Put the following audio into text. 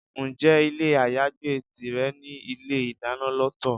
Ǹjẹ́ ilé ayagbé tìrẹ ní ilé-ìdáná lọ́tọ̀?